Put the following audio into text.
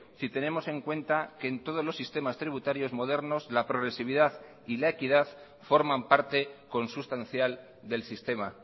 si tenemos en cuenta que en todos los sistemas tributarios modernos la progresividad y la equidad forman parte consustancial del sistema